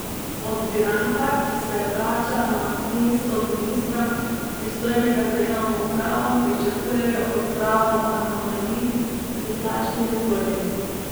Od Viranta, ki se vrača na mesto ministra, pristojnega za javno upravo, pričakujejo odpravo anomalij pri plačni reformi.